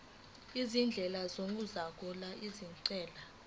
izindlela zokuxazulula izinkinga